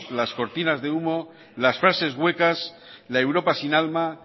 las cortinas de humo las frases huecas la europa sin alma